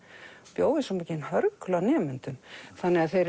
bjó við svo mikinn hörgul á nemendum þannig að þeir